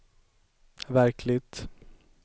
verkligt